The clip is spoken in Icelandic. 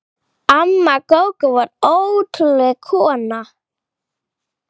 Amma Gógó var ótrúleg kona.